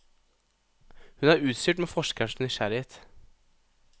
Hun er utstyrt med forskerens nysgjerrighet.